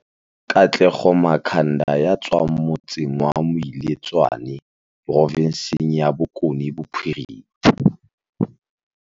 Katlego Makhanda ya tswang motse ng wa Moiletswa ne provinseng ya Bokone Bophirima